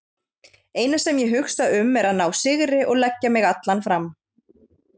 Eina sem ég hugsa um er að ná sigri og leggja mig allan fram.